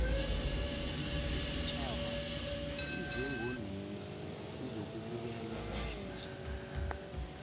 isitjhaba size ngonina sizokubukela namhlanje